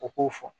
U k'o fɔ